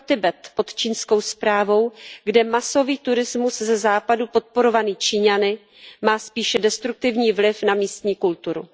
pro Tibet pod čínskou správou, kde masový turismus ze Západu podporovaný Číňany má spíše destruktivní vliv na místní kulturu.